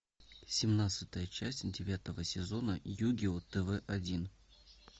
семнадцатая часть девятого сезона югио тв один